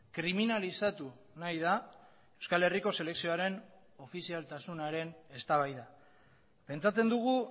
kriminalizatu nahi da euskal herriko selekzioaren ofizialtasunaren eztabaida pentsatzen dugu